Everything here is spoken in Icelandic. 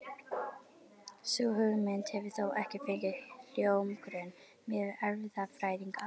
Sú hugmynd hefur þó ekki fengið hljómgrunn meðal erfðafræðinga.